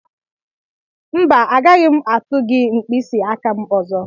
Mba agaghị m atụ gị mkpịsị aka m ọzọ.